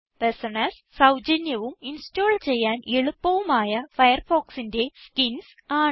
personas സൌജന്യവും install ചെയ്യാൻ എളുപ്പവുമായ ഫയർഫോക്സിന്റെ സ്കിൻസ് ആണ്